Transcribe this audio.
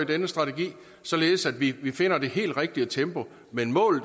denne strategi således at vi finder det helt rigtige tempo men målet